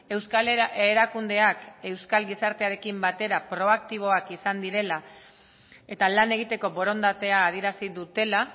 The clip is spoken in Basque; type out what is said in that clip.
euskal erakundeak euskal gizartearekin batera proaktiboak izan direla eta lan egiteko borondatea adierazi dutela